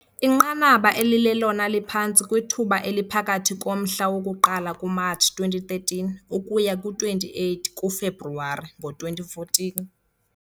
Inqanaba elilelona liphantsi kwithuba eliphakathi komhla woku-1 kuMatshi 2013 ukuya kwi-28 kuFebruwari ngo2014